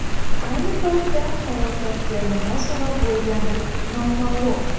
Ayni paytda halokatga nima sabab bo‘lgani noma’lum.